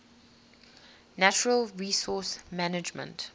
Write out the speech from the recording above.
natural resource management